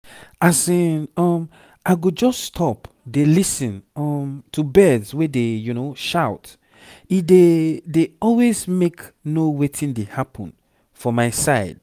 asin um i go just stop dey lis ten um to birds wey dey shout e dey dey aways mk know wetin dey happen for my side